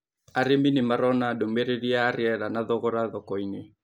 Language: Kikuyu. Arīmi nĩ marona ndũmĩrĩri ya rĩera na thogora thoko-inĩ